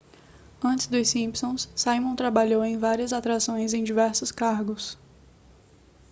antes dos simpsons simon trabalhou em várias atrações em diversos cargos